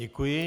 Děkuji.